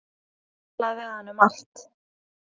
Hann gat talað við hana um allt.